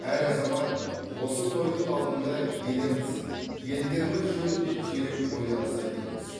әр азамат осы тойдың алдында еліміз елдігіміз жөнінде терең ойланса дейміз